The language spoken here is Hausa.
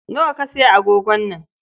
Nawa ka sayi agogon nan?